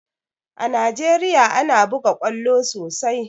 A Najeriya ana buga ƙwallo sosai